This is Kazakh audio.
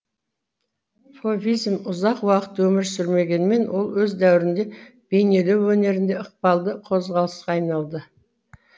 фовизм ұзақ уақыт өмір сүрмегенімен ол өз дәуірінде бейнелеу өнерінде ықпалды қозғалысқа айналды